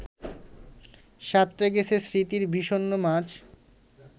সাঁতরে গেছে স্মৃতির বিষণ্ন মাছ